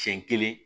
Siɲɛ kelen